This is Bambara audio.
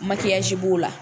b'o la